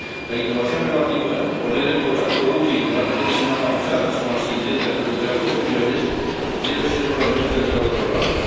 La innovación relativa, poner en contacto útil las regiones más avanzadas con las que intentan recuperar posiciones, debe ser un elemento central del programa.